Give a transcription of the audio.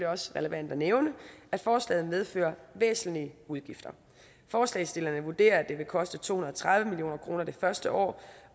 også relevant at nævne at forslaget medfører væsentlige udgifter forslagsstillerne vurderer at det vil koste to hundrede og tredive million kroner det første år